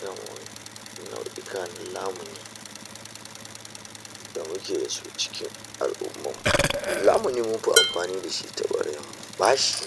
Yauwa nau'ikan namu da muke da su cikin al'ummarmu za mu yi muku amfani da shi ta kwarewa bashi